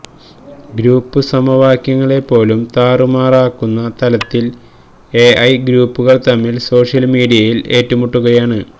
group സമവാക്യങ്ങളെ പോലും താറുമാറാക്കുന്ന തലത്തിൽ എഐ ഗ്രൂപ്പുകൾ തമ്മിൽ സോഷ്യൽ മീഡിയയിൽ ഏറ്റുമുട്ടുകയാണ്